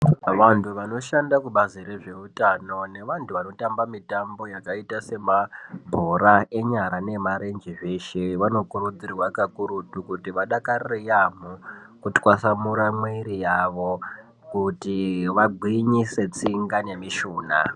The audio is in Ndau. Vantu vanoshanda kubazi rezveutano nevantu vanotamba mitambo yakaita semabhora enyara neemarenje zveshe ,vanokurudzirwa kakurutu kuti vadakarire yaamho kutwasamura muwiri yavo kuti vagwinyise tsinga nemishunha.